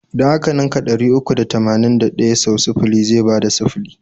Idan a ka ninka ɗari uku da tamanin da ɗaya sau sifili zai bada sifili.